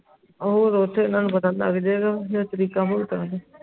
ਉਹ ਤੇ ਓਥੇ ਐਨਾ ਨੂੰ ਪਤਾ ਲੱਗ ਜੇ ਗਏ ਜਦ ਤਰੀਕਾਂ ਪੁਗਤਾਂ ਦੇ